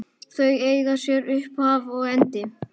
Þau eiga sér upphaf og endi.